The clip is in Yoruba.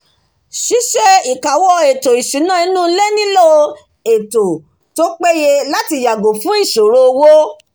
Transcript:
síse ìkáwọ́ ètò ìsúnà inú ilé nílò ètò tó pe ye láti yàgò fun ìsòrò owó